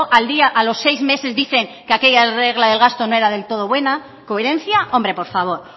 al día a los seis meses dicen que aquella regla de gasto no era del todo buena coherencia hombre por favor